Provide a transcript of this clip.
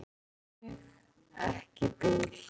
Ían, syngdu fyrir mig „Ekki bíl“.